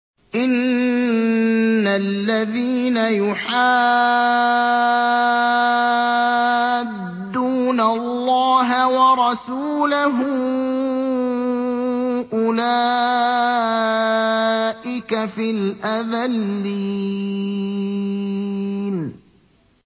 إِنَّ الَّذِينَ يُحَادُّونَ اللَّهَ وَرَسُولَهُ أُولَٰئِكَ فِي الْأَذَلِّينَ